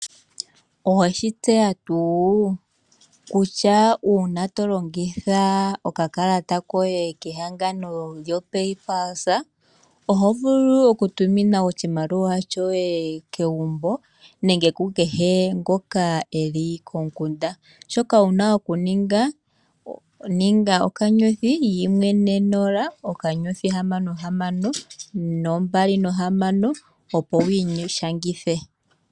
Oweshi tseya tuu kutya uuna tolongitha okakalata koye kehangano lyo paypulse ohovulu oku tumina oshimaliwa shoye megumbo nenge komukunda . Shoka wuna okuninga thinda *140*6626 opo wi ishangithe.